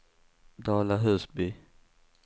Dala-Husby